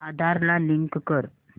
आधार ला लिंक कर